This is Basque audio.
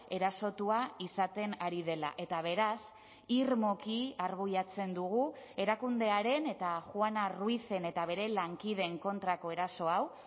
erasotua izaten ari dela eta beraz irmoki arbuiatzen dugu erakundearen eta juana ruizen eta bere lankideen kontrako eraso hau